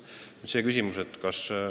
Nüüd, see küsimus.